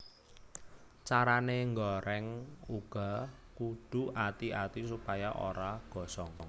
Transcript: Carané ngoreng uga kudu ati ati supaya ora gosong